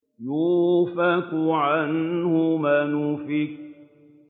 يُؤْفَكُ عَنْهُ مَنْ أُفِكَ